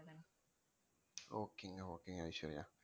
okay ங்க okay ங்க ஐஸ்வர்யா